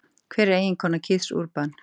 Hver er eiginkona Keiths Urban?